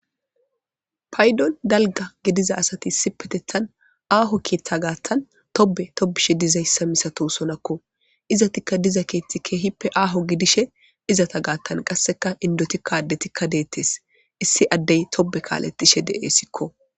paydon dalga gediza asati issi petethan aaho keeththa gaattan tobe tobishe dizayssa misatosonakko izatikka diza keethti keehippe aaho gidishe izata gaattan qasseka indotikka addetikka deettes issi addey tobe kaalatishe de7essikko